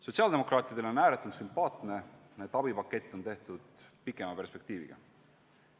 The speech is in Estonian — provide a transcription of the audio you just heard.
Sotsiaaldemokraatidele on ääretult sümpaatne, et abipakett on tehtud pikemat perspektiivi arvestades.